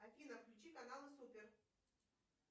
афина включи канал супер